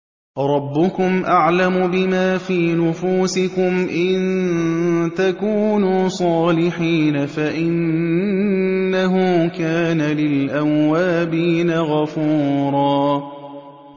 رَّبُّكُمْ أَعْلَمُ بِمَا فِي نُفُوسِكُمْ ۚ إِن تَكُونُوا صَالِحِينَ فَإِنَّهُ كَانَ لِلْأَوَّابِينَ غَفُورًا